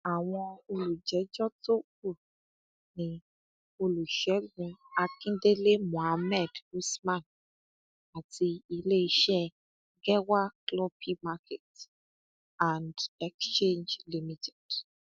àwọn olùjẹjọ tó kù ni olùṣègùn akíndélé mohammed usman àti iléeṣẹ gẹwà cloppy market and exchange limited